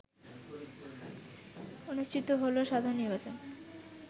অনুষ্ঠিত হল সাধারণ নির্বাচন